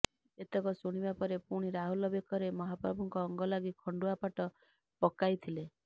ଏତକ ଶୁଣିବାପରେ ପୁଣି ରାହୁଲ ବେକରେ ମାହାପ୍ରଭୁଙ୍କ ଅଙ୍ଗଲାଗି ଖଣ୍ତୁଆ ପାଟ ପକାିଥିଲେ